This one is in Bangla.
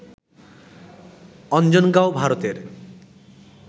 অঞ্জনগাঁও, ভারতের